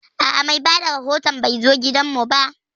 A'a, mai bada rahoton bai zo gidan mu ba